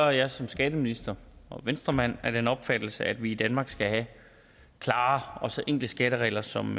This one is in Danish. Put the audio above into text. jeg som skatteminister og venstremand af den opfattelse at vi i danmark skal have så klare enkle skatteregler som